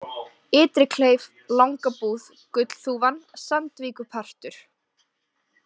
Ytri-Kleif, Langabúð, Gullþúfan, Sandvíkurpartur